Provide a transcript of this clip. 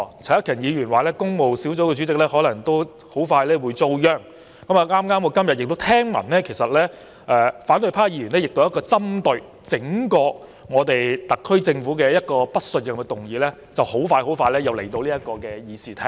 陳克勤議員說，工務小組委員會主席恐怕也快遭殃。我今天亦聽聞，反對派議員一項針對整個特區政府的不信任議案，不久之後也會提交到議事廳討論。